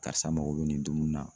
Karisa mago bɛ nin dumuni na.